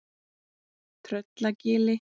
Tröllagili